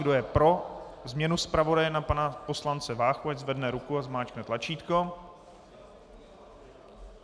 Kdo je pro změnu zpravodaje na pana poslance Váchu, ať zvedne ruku a zmáčkne tlačítko.